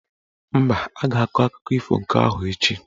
Mba, a ga-akụkọ ifo nke ahụ echi.